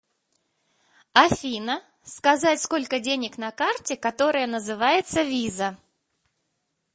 афина сказать сколько денег на карте которая называется виза